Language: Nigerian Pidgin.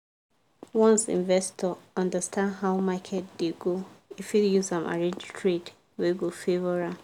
once investor understand how market dey go e fit use am arrange trade wey go favour am.